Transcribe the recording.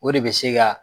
O de bɛ se ka